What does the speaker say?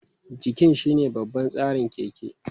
Jikin shine babban tsarin keke.